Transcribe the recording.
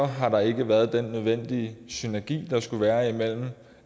har der ikke været den nødvendige synergi der skulle være imellem